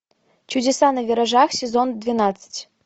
чудеса на виражах сезон двенадцать